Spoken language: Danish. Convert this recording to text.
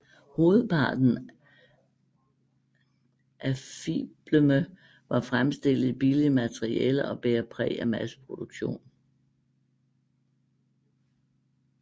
Hovedparten af fiblerne var fremstillet i billige materialer og bærer præg af masseproduktion